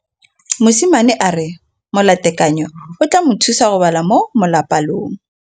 Mosimane a re molatekanyô o tla mo thusa go bala mo molapalong.